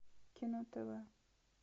кино тв